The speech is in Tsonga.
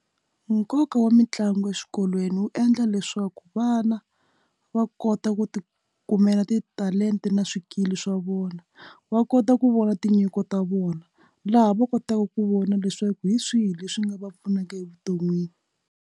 Nkoka wa mitlangu eswikolweni wu endla leswaku vana va kota ku ti kumela titalenta na swikili swa vona wa kota ku vona tinyiko ta vona laha va kotaka ku vona leswaku hi swihi leswi nga va pfunaka evuton'wini.